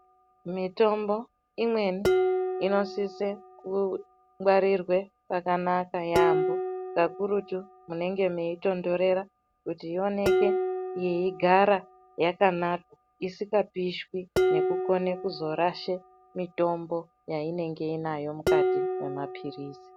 Mitombo imweni inosise kungwarirwe pakanaka yaambo, kakurutu munenge meitondorera kuti inoneke yeigara yakanaka isikapishwi nekukone kuzorashe mitombo yainenge inayo mukati mwemapirizi.